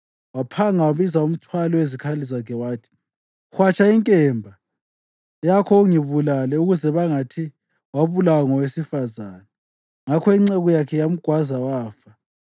Waphanga wabiza umthwali wezikhali zakhe wathi, “Hwatsha inkemba yakho ungibulale, ukuze bangathi, ‘Wabulawa ngowesifazane.’ ” Ngakho inceku yakhe yamgwaza, wafa.